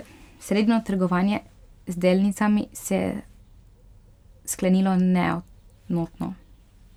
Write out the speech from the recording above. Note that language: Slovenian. Sredino trgovanje z delnicami se je sklenilo neenotno.